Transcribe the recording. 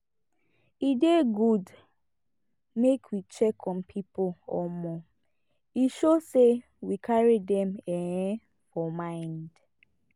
e dey good make we check on people um e show sey we carry dem um for mind